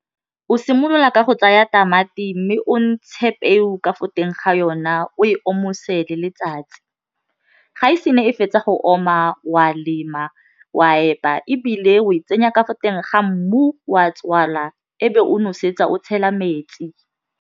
O simolola ka go tsaya tamati mme o ntshe peo ka fo teng ga yona o e omose le letsatsi ga e se ne e fetsa go oma wa lema wa epa ebile o e tsenya ka fo teng ga mmu wa tswala fa o nosetsa o tshela metsi.